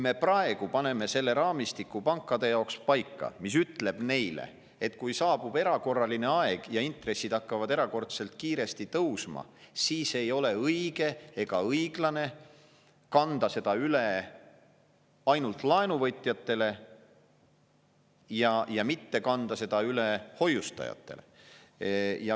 Me paneme pankade jaoks praegu paika raamistiku, mis ütleb neile, et kui saabub erakorraline aeg ja intressid hakkavad erakordselt kiiresti tõusma, siis ei ole õige ega õiglane kanda seda üle ainult laenuvõtjatele ja mitte kanda seda üle hoiustajatele.